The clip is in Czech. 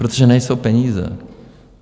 Protože nejsou peníze.